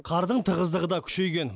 қардың тығыздығы да күшейген